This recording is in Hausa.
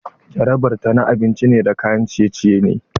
Jarabar ta na abinci da kayan ciye-ciye ne.